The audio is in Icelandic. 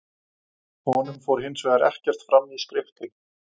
Honum fór hins vegar ekkert fram í skriftinni.